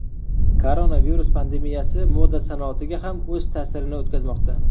Koronavirus pandemiyasi moda sanoatiga ham o‘z ta’sirini o‘tkazmoqda.